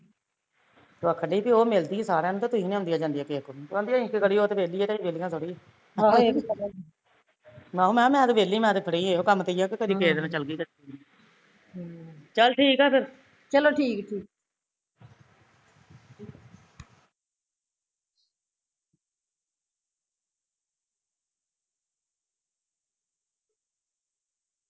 ਆਖਣ ਡੇ ਸੀ ਵੀ ਉਹ ਤੇ ਮਿਲਦੀ ਸਾਰਿਆ ਨੂੰ, ਤੁਸੀਂ ਨੀ ਆਉਂਦੇ ਜਾਂਦੇ ਕਿਸੇ ਕੋਲ, ਕਹਿੰਦੇ ਅਸੀਂ ਕੀ ਕਰੀਏ ਉਹ ਤੇ ਵੇਹਲੀ ਐ ਅਸੀਂ ਵੇਹਲੀਆ ਥੋੜੀ ਆਹੋ ਮੈਂ ਕਿਹਾ ਮੈਂ ਤੇ ਵੇਹਲੀ ਮੈਂ ਘਰੇ ਏਸੇ ਕੰਮ ਤੇ ਆ ਕਦੀ ਕਿਸੇ ਕੋਲ ਚੱਲ ਗਈ ਕਦੇ ਕਿਸੇ ਕੋਲ ਚੱਲ ਠੀਕ ਐ ਫਿਰ